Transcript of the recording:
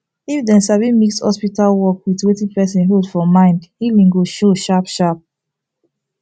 if dem sabi mix hospital work with wetin person hold for mind healing go show sharp sharp